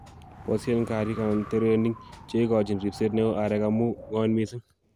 boisien kariik/terenik cheigochin ripset neoo areek amu ng'oen missing.